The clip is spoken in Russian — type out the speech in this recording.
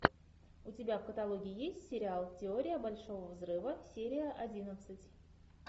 у тебя в каталоге есть сериал теория большого взрыва серия одиннадцать